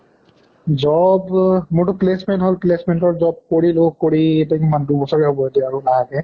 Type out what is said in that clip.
job অহ মোৰ টো placement হʼল placement হʼল job কৰিলোঁ কৰি এতিয়া কিমান দুই বছৰে হʼব এতিয়া লাহেকে